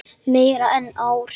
Meira en ár.